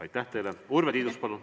Urve Tiidus, palun!